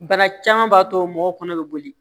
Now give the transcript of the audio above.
Bana caman b'a to mɔgɔw kɔnɔ bɛ boli